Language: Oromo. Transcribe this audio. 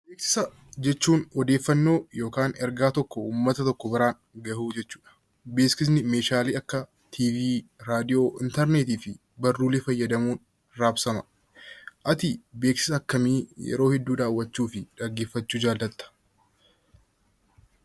Beeksisa jechuun odeeffannoo yookaan erga tokko uummata biraan gahuu jechuudha. Beeksisni meeshaalee akka televezyiinii, raadiyoo, intarneetii fi barruulee fayyadamuun raabsama. Ati beeksisa akkamii yeroo hedduu daawwachuu fi dhaggeeffachuu jaallatta?